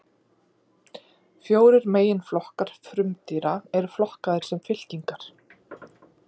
Fjórir meginflokkar frumdýra eru flokkaðir sem fylkingar.